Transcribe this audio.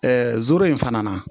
zore in fana na